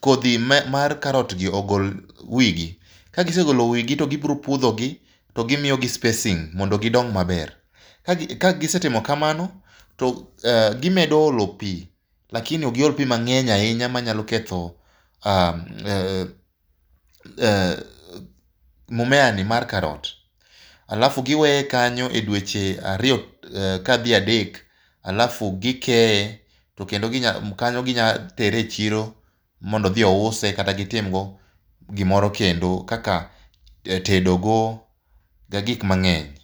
kodhi mar karot gi ogol wigi. Ka gise golo wigi to gibiro pudhogi to gimiyogi spacing mondo gidong maber. Kagisetimo kamano to gimedo olo pi lakini ok giol pi mang‘eny ahinya manyalo ketho aa ee m mumea ni mar karot. alafu giweye kanyo edweche ariyo madhi adek alafu gikeye. Kanyo ginyalo tere e chiro mondo odhi ouse, kata gitim go gimoro kendo kaka tedo go kata gik mang'eny.